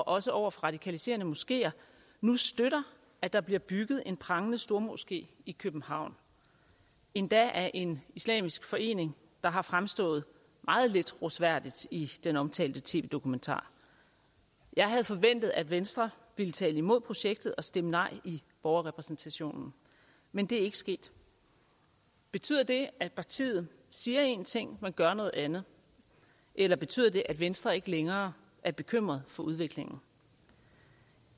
også over for radikaliserende moskeer nu støtter at der bliver bygget en prangende stormoské i københavn endda af en islamisk forening der har fremstået meget lidt rosværdigt i den omtalte tv dokumentar jeg havde forventet at venstre ville tale imod projektet og stemme nej i borgerrepræsentationen men det er ikke sket betyder det at partiet siger en ting men gør noget andet eller betyder det at venstre ikke længere er bekymret for udviklingen